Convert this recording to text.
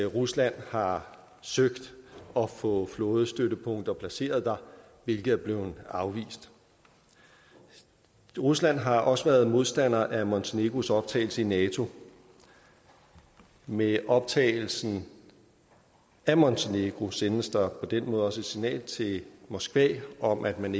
rusland har søgt at få flådestøttepunkter placeret der hvilket er blevet afvist rusland har også været modstander af montenegros optagelse i nato med optagelsen af montenegro sendes der på den måde også et signal til moskva om at man